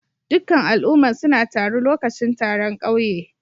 Dukan al'umman suna taru lokacin taron kauye.